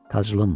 Taclım.